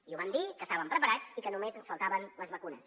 i ho vam dir que estàvem preparats i que només ens faltaven les vacunes